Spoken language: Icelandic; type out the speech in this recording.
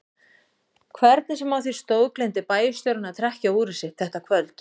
Hvernig sem á því stóð gleymdi bæjarstjórinn að trekkja úrið sitt þetta kvöld.